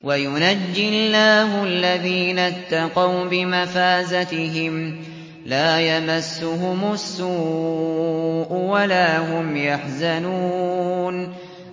وَيُنَجِّي اللَّهُ الَّذِينَ اتَّقَوْا بِمَفَازَتِهِمْ لَا يَمَسُّهُمُ السُّوءُ وَلَا هُمْ يَحْزَنُونَ